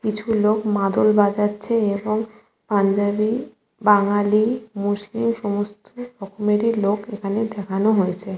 কিছু লোক মাদল বাজছে এবং পাঞ্জাবি বাঙালি মুসলিম সমস্ত রকমেরই লোক এখানে দেখাচ্ছে।